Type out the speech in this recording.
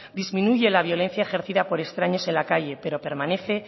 disminuye la violencia ejercida por extraños en la calle pero permanece e